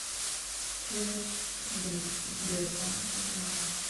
через сбербанк онлайн